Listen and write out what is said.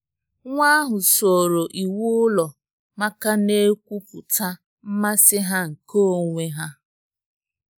Nwa ahụ soro iwu ụlọ ma ka na-ekwupụta mmasị ha nke onwe ha.